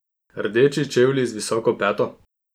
Rdeči čevlji z visoko peto?